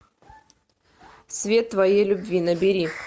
свет твоей любви набери